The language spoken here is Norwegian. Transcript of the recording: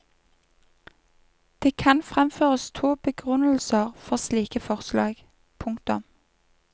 Det kan fremføres to begrunnelser for slike forslag. punktum